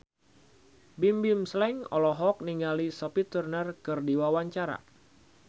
Bimbim Slank olohok ningali Sophie Turner keur diwawancara